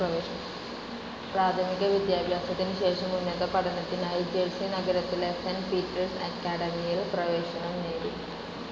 പ്രാഥമിക വിദ്യാഭ്യാസത്തിന് ശേഷം ഉന്നത പഠനത്തിനായി ജെർസി നഗരത്തിലെ സെൻ്റ് പീറ്റേർസ്‌ അക്കാഡമിയിൽ പ്രവേശനം നേടി.